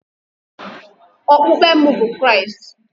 Okpukpe m bụ Kraịst